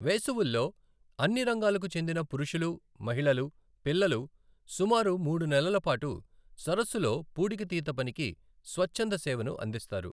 వేసవుల్లో, అన్ని రంగాలకు చెందిన పురుషులు, మహిళలు, పిల్లలు సుమారు మూడు నెలల పాటు సరస్సులో పూడికతీత పనికి స్వచ్ఛంద సేవను అందిస్తారు.